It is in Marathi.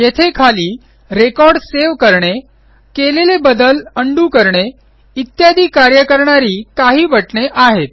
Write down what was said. येथे खाली रेकॉर्ड सेव्ह करणे केलेले बदल उंडो करणे इत्यादी कार्य करणारी काही बटणे आहेत